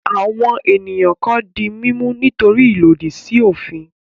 Àwọn ènìyàn kan di mímú nítorí ìlòdì sí òfin.